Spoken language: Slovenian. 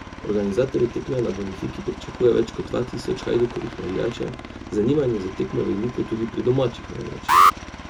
Organizatorji tekme na Bonifiki pričakujejo več kot dva tisoč Hajdukovih navijačev, zanimanje za tekmo je veliko tudi pri domačih navijačih.